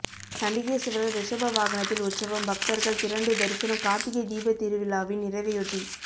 சண்டிகேஸ்வரர் ரிஷப வாகனத்தில் உற்சவம் பக்தர்கள் திரண்டு தரிசனம் கார்த்திகை தீபத்திருவிழாவின் நிறைவையொட்டி